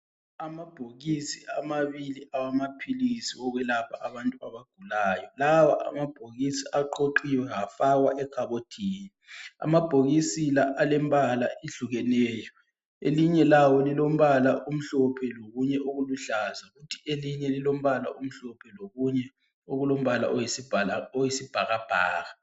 Amabhokisi amabili awamaphilisi okwelapha abantu abagulayo. Lawa amabhokisi aqoqiwe afakwa ekhabothini. Amabhokisi la alembala ehlukeneyo, elinye lawo lilombala omhlophe lokunye okuluhlaza elinye lilombala omhlophe lokunye okulombala oyisibhakabhaka.